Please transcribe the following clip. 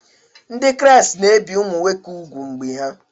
Ndị Kraịst na-ebi ụmụ nwoke úgwù mgbe ha